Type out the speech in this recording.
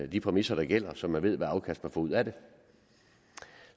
de præmisser der gælder så man ved hvilket afkast man får ud af det